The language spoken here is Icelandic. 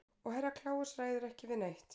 Og Herra Kláus ræður ekki við neitt.